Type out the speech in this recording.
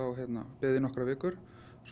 beðið í nokkrar vikur svo